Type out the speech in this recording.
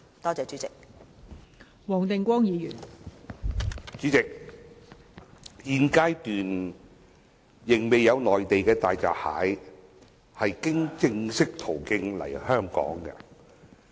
代理主席，現階段仍未有內地大閘蟹經正式途徑來港。